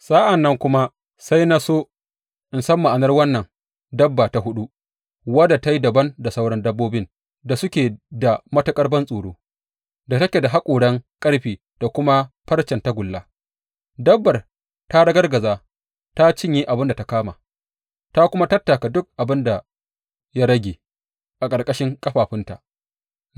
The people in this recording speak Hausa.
Sa’an nan kuma sai na so in san ma’anar wannan dabba ta huɗu, wadda ta yi dabam da sauran dabbobin da suke da matuƙar bantsoro, da take da haƙoran ƙarfe da kuma farcen tagulla, dabbar ta ragargaje ta cinye abin da ta kama, ta kuma tattaka duk abin da ya rage a ƙarƙashin ƙafafunta.